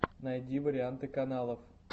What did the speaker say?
найди варианты каналов